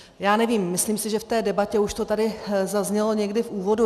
Já nevím, myslím si, že v té debatě už to tady zaznělo někdy v úvodu.